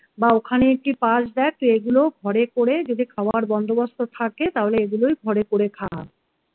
বা ওখানে কি পাস দেখ তুই এগুলো ঘরে করে যদি খাবার বন্দোবস্ত থাকে তাহলে এগুলোই ঘরে করে খা